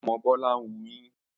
Ọmọ Bọ́lá ń wuyín